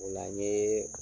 O la n yee